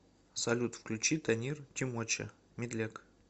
салют включи танир тимоча медляк